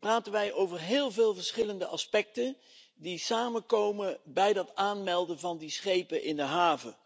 praten wij over heel veel verschillende aspecten die samenkomen bij het aanmelden van schepen in de haven.